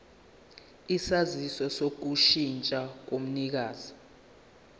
isaziso sokushintsha komnikazi